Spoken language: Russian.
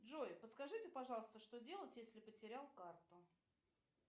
джой подскажите пожалуйста что делать если потерял карту